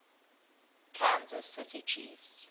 kansas city chiefs